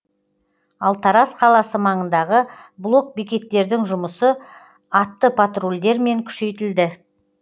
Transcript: ал тараз қаласы маңындағы блок бекеттердің жұмысы атты патрульдермен күшейтілді